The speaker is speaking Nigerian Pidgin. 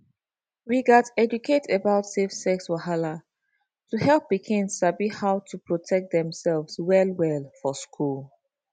we gats educate about safe sex wahala to help pikin sabi how to protect demself wellwell for school